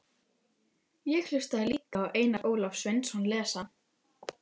Hér er köllun mín, ævistarf mitt og tilgangur.